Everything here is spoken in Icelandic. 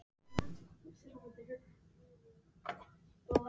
Já, þessa eyðileggingu á einu lífi.